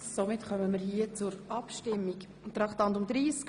Damit kommen wir zur Abstimmung über Traktandum 30.